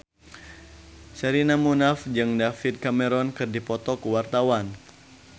Sherina Munaf jeung David Cameron keur dipoto ku wartawan